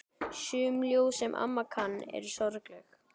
Sum ljóðin, sem amma kann, eru mjög sorgleg.